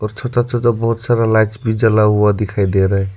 और छोटा छोटा बहोत सारा लाइट्स भी जला हुआ दिखाई दे रहा --